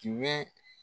Tiɲɛ bɛ